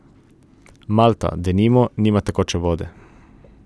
Malta, denimo, nima tekoče vode.